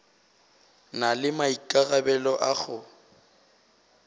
na le maikarabelo a go